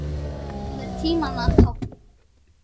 Það er tímanna tákn.